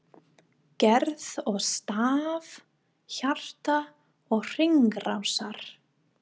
GERÐ OG STARF HJARTA OG HRINGRÁSAR